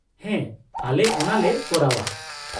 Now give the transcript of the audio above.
-ᱦᱮᱸ, ᱟᱞᱮ ᱚᱱᱟᱞᱮ ᱠᱚᱨᱟᱣᱼᱟ ᱾